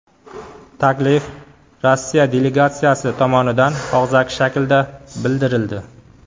Taklif Rossiya delegatsiyasi tomonidan og‘zaki shaklda bildirildi.